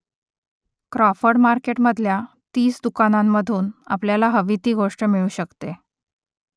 Crawford मार्केटमधल्या तीस दुकानांमधून आपल्याला हवी ती गोष्ट मिळू शकते